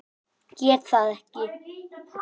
Get það ekki.